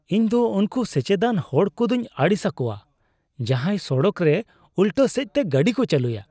ᱤᱧᱫᱚ ᱩᱱᱠᱩ ᱥᱮᱪᱮᱫᱟᱱ ᱦᱚᱲ ᱠᱚᱫᱚᱧ ᱟᱹᱲᱤᱥ ᱟᱠᱚᱣᱟ ᱡᱟᱦᱟᱭ ᱥᱚᱲᱚᱠ ᱨᱮ ᱩᱞᱴᱟᱹ ᱥᱮᱡᱽᱛᱮ ᱜᱟᱹᱰᱤ ᱠᱚ ᱪᱟᱹᱞᱩᱭᱟ ᱾